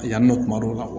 A yan nɔ kuma dɔw la